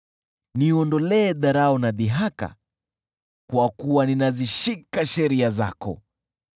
Niondolee dharau na dhihaka, kwa kuwa ninazishika sheria zako.